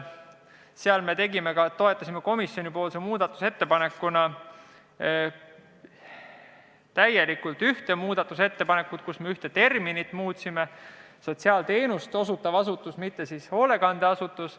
Sellega seoses toetasime komisjoni muudatusettepanekuna täielikult ühte ettepanekut, millega me muutsime terminit: ütleme "sotsiaalteenust osutav asutus", mitte "hoolekandeasutus".